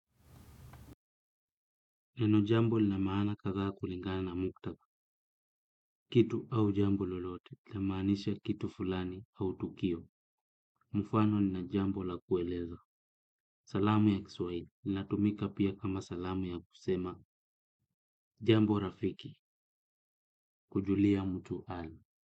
Neno jambo lina maana kadhaa kulingana na muktadha, kitu au jambo lolote, linamaanisha kitu fulani au tukio, mfano nina jambo la kueleza. Salamu ya kiswahili, linatumika pia kama salamu ya kusema, jambo rafiki, kujulia mtu hali.